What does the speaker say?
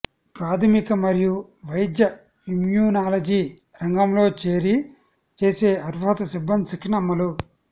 ప్రాథమిక మరియు వైద్య ఇమ్యునాలజీ రంగంలో చేరి చేసే అర్హత సిబ్బంది శిక్షణ అమలు